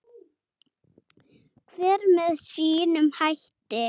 Hver með sínum hætti.